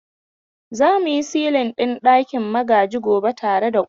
Za mu yi silin ɗin ɗakin Magaji gobe tare da ƙofa.